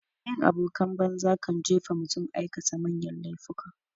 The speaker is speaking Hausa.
Bin abokan banza kan jefa mutum aikata manyan laifuka.